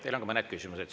Teile on ka mõned küsimused.